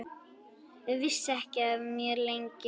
Vissi ekki af mér, lengi.